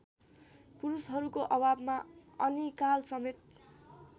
पुरुषहरूको अभावमा अनिकालसमेत